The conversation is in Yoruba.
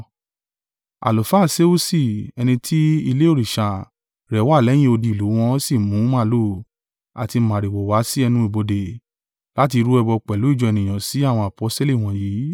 Àlùfáà Seusi, ẹni ti ilé òrìṣà rẹ̀ wá lẹ́yìn odi ìlú wọn sì mú màlúù àti màrìwò wá sí ẹnu ibodè láti rú ẹbọ pẹ̀lú ìjọ ènìyàn sí àwọn aposteli wọ̀nyí.